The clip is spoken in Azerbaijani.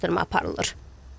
Araşdırma aparılır.